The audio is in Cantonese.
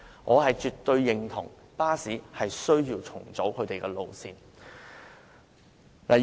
我絕對認為巴士需要重組路線。